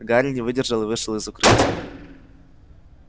гарри не выдержал и вышел из укрытия